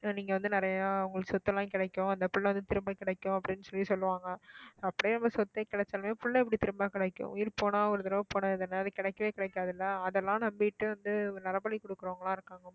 நீங்க வந்து நிறைய உங்களுக்கு சொத்தெல்லாம் கிடைக்கும் அந்த பிள்ளை வந்து திரும்ப கிடைக்கும் அப்படின்னு சொல்லி சொல்லுவாங்க அப்படியே அந்த சொத்தே கிடைச்சாலுமே பிள்ளை இப்படி திரும்ப கிடைக்கும் உயிர் போனா ஒரு தடவை போனா எதுனா அது கிடைக்கவே கிடைக்காது இல்லை அதெல்லாம் நம்பிட்டு வந்து நரபலி கொடுக்கிறவங்க எல்லாம் இருக்காங்க